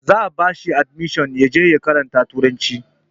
Za a ba shi adimishon ya je ya karanta turanci